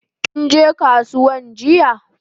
Kinje kasuwan jiya?